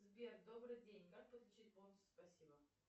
сбер добрый день как подключить бонусы спасибо